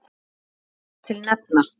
Má þar til nefna